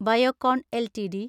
Biocon LTD